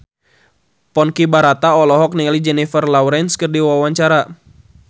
Ponky Brata olohok ningali Jennifer Lawrence keur diwawancara